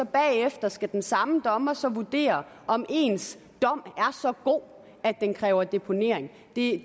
bagefter skal den samme dommer så vurdere om ens dom er så god at den kræver deponering det